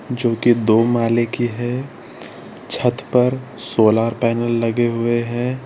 जो की दो माले की है छत पर सोलार पैनल लगे हुए हैं।